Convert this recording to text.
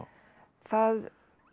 það